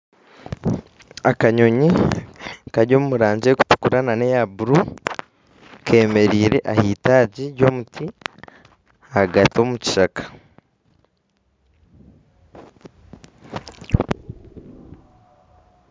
Akanyonyi kari omurangi erikutukura nana eya buru kemereire aheitaagi ry'omuti ahagati omukishaka